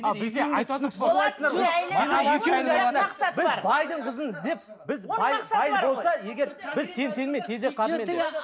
ал бізде айтатын кісі біз байдың қызын іздеп біз бай бай болса егер біз тең теңімен тезек қабымен